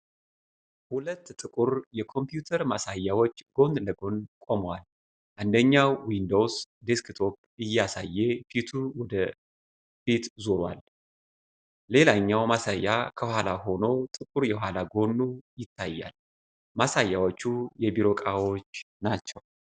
ሁለት ጥቁር የኮምፒውተር ማሳያዎች ጎን ለጎን ቆመዋል። አንደኛው ዊንዶውስ ዴስክቶፕ እያሳየ ፊቱ ወደ ፊት ዞሯል። ሌላኛው ማሳያ ከኋላ ሆኖ ጥቁር የኋላ ጎኑ ይታያል። ማሳያዎቹ የቢሮ ዕቃዎች ናቸው?